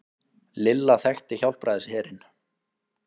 Lilla þekkti Hjálpræðisherinn.